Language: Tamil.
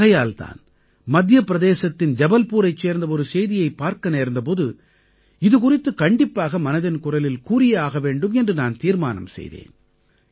ஆகையால் தான் மத்திய பிரதேசத்தின் ஜபல்பூரைச் சார்ந்த ஒரு செய்தியைப் பார்க்க நேர்ந்த போது இது குறித்து கண்டிப்பாக மனதின் குரலில் கூறியே ஆக வேண்டும் என்று நான் தீர்மானம் செய்தேன்